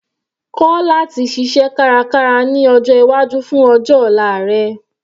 Kọ́ láti ṣiṣẹ́ kárakára ní ọjọ́ iwájú fún ọjọ́ ọ̀la rẹ.